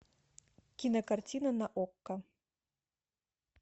кинокартина на окко